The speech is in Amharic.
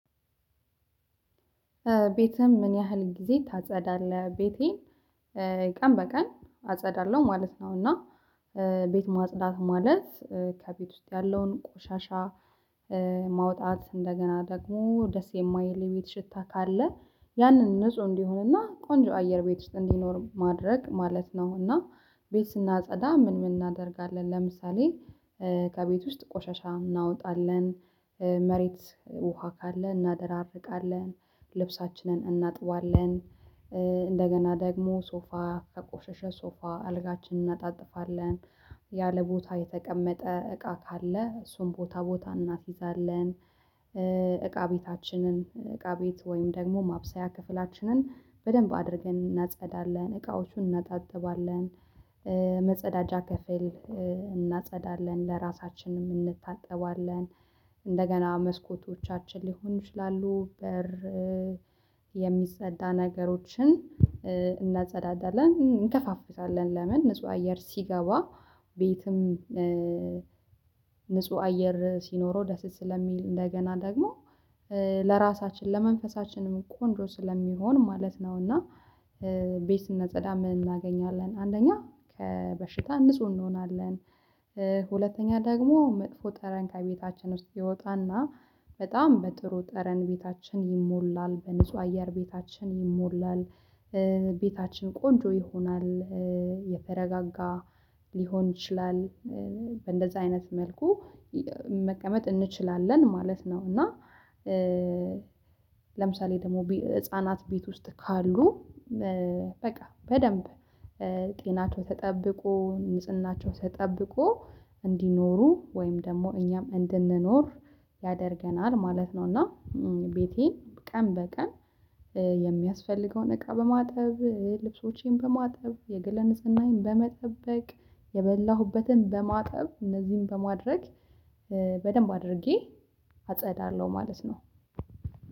ቤትህም ምን ያህል ጊዜ ታጸዳለህ? ቤቴን ቀን በቀን አጸዳለሁ ማለት ነው። እና ቤት ማጽዳት ማለት ከቤት ውስጥ ያለውን ቆሻሻ ማውጣት እንደገና ደግሞ ደስ የማይል የቤት ሽታ ካለ ያንን ንጹህ እንዲሆንና ቆንጆ አየር ቤት ውስጥ እንዲኖር ማድረግ ማለት ነውና። ቤት ስናጸዳ ምን ምን እናደርጋለን ለምሳሌ ከቤት ውስጥ ቆሻሻ እናወጣለን መሬት ውሃ ካለ እናደራርቃለን ልብሳችንን እናጥባለን። እንደገና ደግሞ ሶፋ ከቆሸሸ ሶፋ አልጋችን እናጣጥፋለን ያለ ቦታ የተቀመጠ እቃ ካለ እሱን ቦታ ቦታ እናስይዛለን። እቃ ቤታችንን እቃ ቤት ወይም ደግሞ ማብሰያ ክፍላችንን በደንብ አድርገን እናጸዳለን እቃዎቹን እናጣጥባለን። መጸዳጃ ከፍል እናጸዳለን ለራሳችንም እንታጠባለን። እንደገና መስኮቶቻችን ሊሆን ይችላሉ በር የሚጸዳ ነገሮችን እንደጸዳዳለን እንከፈፍታለን ለምን ንጹህ አየር ሲገባ ቤትም ንጹህ አየር ሲኖረው ደስ ስለሚል እንደገና ደግሞ ለራሳችን ለመንፈሳችንም ቆንጆ ስለሚሆን ማለት ነው። እና ቤት ስናጸዳ ምን እናገኛለን አንደኛ ከበሽታ ንጹህ እንሆናለን። ሁለተኛ ደግሞ መጥፎ ጠረን ከቤታችን ውስጥ ይወጣና በጣም በጥሩ ጠረን ቤታችን ይሞላል በንጹህ አየር ቤታችን ይሞላል። ቤታችን ቆንጆ ይሆናል የተረጋጋ ሊሆን ይችላል። እንደዛ አይነት መልኩ መቀመጥ እንችላለን ማለት ነው። እና ለምሳሌ ደግሞ ህፃናት ቤት ውስጥ ካሉ በቃ በደንብ ጤናቸው ተጠብቆ ንጽህናቸው ተጠብቆ እንዲኖሩ ወይም ደግሞ እኛም እንድንኖር ያደርገናል ማለት ነው። እና ቤቴን ቀን በቀን የሚያስፈልገውን እቃ በማጠብ ልብሶቼን በማጠብ የገላየን ንጽህና በመጠበቅ የበላሁበትን በማጠብ እነዚህን በማድረግ በደንብ አድርጌ አጸዳለሁ ማለት ነው።